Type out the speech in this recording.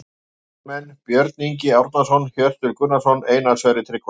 Lykilmenn: Björn Ingi Árnason, Hjörtur Gunnarsson og Einar Sverrir Tryggvason